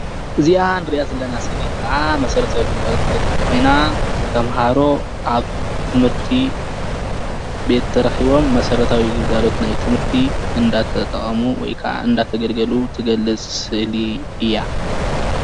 እዚኣ እንርእያ ዘለና ስእሊ ከኣ መሰረታዊ ግልጋሎት እትገልፅ ኮይና ተምሃሮ ኣብ ትምህርቲ ቤት ተረኪቦም መሰረታዊ ግልጋሎት ናይ ትምህርቲ እንዳተጠቀሙ ወይ ድማ እናተገልገሉ እትገልፅ ስእሊ እያ::